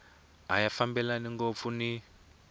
a ya fambelani ngopfu ni